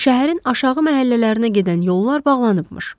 Şəhərin aşağı məhəllələrinə gedən yollar bağlanıbmış.